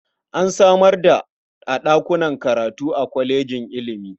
An samar da a ɗakunan karatu a kwalejojin ilimi.